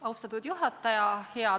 Austatud juhataja!